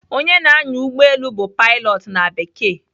Onye na-anya ụgbọelu bụ "pilot" na Bekee.